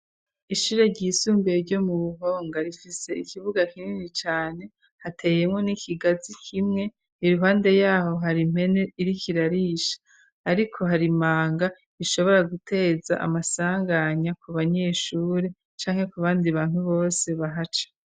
Ishure ry'isumbuye ryo mu buhonga rifise ikibuga kinini cyane hateyemo n'ikigazi kimwe iruhande yaho hari mpene iri kirarisha, ariko hari manga ishobora guteza amasanganya ku banyeshure canke ku bandi bantu bose bahaca.